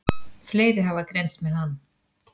Fleiri hafa greinst með hann.